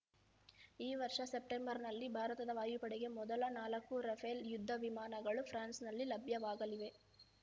ಈ ವರ್ಷ ಸೆಪ್ಟೆಂಬರ್‌ನಲ್ಲಿ ಭಾರತದ ವಾಯುಪಡೆಗೆ ಮೊದಲ ನಾಲ್ಕು ರಫೇಲ್‌ ಯುದ್ಧವಿಮಾನಗಳು ಫ್ರಾನ್ಸ್‌ನಲ್ಲಿ ಲಭ್ಯವಾಗಲಿವೆ